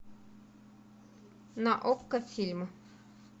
на окко фильм